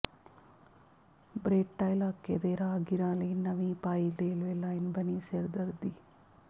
Beretta ਇਲਾਕੇ ਦੇ ਰਾਹਗੀਰਾਂ ਲਈ ਨਵੀਂ ਪਾਈ ਰੇਲਵੇ ਲਾਇਨ ਬਣੀ ਸਿਰਦਰਦੀ